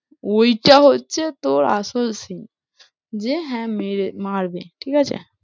ঐটা হচ্ছে তোর আসল scene যে হ্যাঁ, মারবে ঠিক আছে?